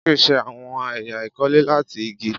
Jake ṣe awọn ẹya ikole lati igi